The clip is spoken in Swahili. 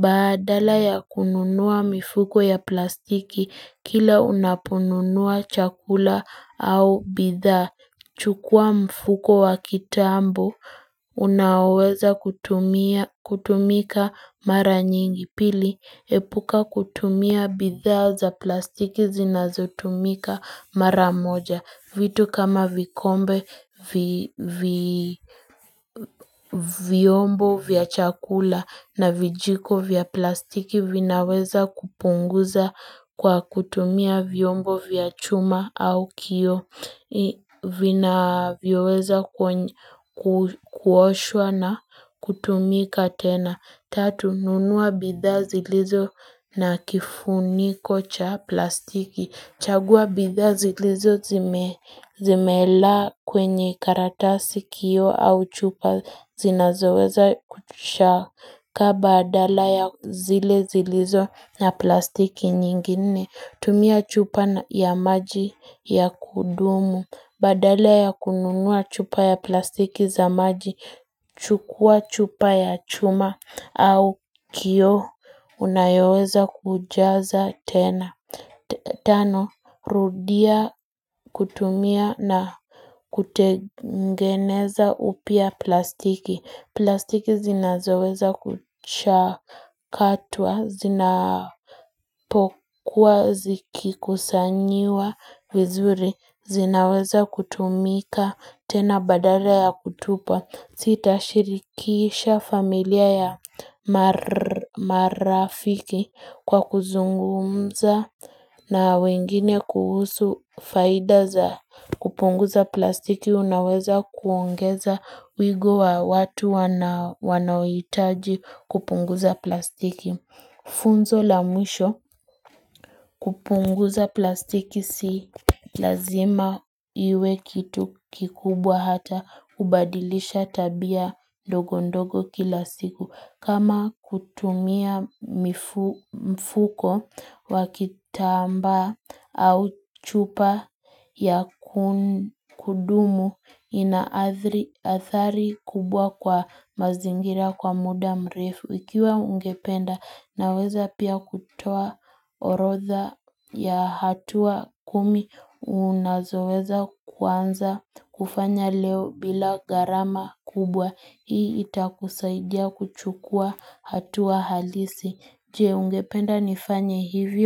Baadala ya kununua mifuko ya plastiki kila unapununua chakula au bidhaa chukua mfuko wa kitambo unaweza kutumika mara nyingi. Pili. Epuka kutumia bidhaa za plastiki zinazotumika mara moja vitu kama vikombe vyombo vya chakula na vijiko vya plastiki vinaweza kupunguza kwa kutumia vyombo vya chuma au kioo vinaweza kuoshwa na kutumika tena. Tatu, nunua bidhaa zilizo na kifuniko cha plastiki. Chagua bidhaa zilizo zimela kwenye karatasi kioo au chupa zinazoweza kutushaka baadala ya zile zilizo na plastiki nyingine tumia chupa ya maji ya kudumu Badala ya kununua chupa ya plastiki za maji chukua chupa ya chuma au kioo, unayoweza kujaza tena. Tano, rudia kutumia na kutengeneza upya plastiki. Plastiki zinazoweza kuchakatwa, zinapokuwa, zikikusanyiwa vizuri, zinaweza kutumika, tena baadala ya kutupa. Sitashirikisha familia ya marafiki kwa kuzungumza na wengine kuhusu faida za kupunguza plastiki unaweza kuongeza wigo wa watu wanaohitaji kupunguza plastiki Funzo la mwisho kupunguza plastiki si lazima iwe kitu kikubwa hata kubadilisha tabia ndogondogo kilastiku. Kama kutumia mfuko wa kitambaa au chupa ya kudumu ina athari kubwa kwa mazingira kwa muda mrefu. Ikiwa ungependa unaweza pia kutoa orodha ya hatua kumi unazoweza kuanza kufanya leo bila gharama kubwa hii itakusaidia kuchukua hatua halisi. Je, ungependa nifanye hivyo.